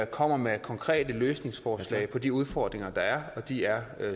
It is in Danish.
kommer med konkrete løsningsforslag på de udfordringer der er og de er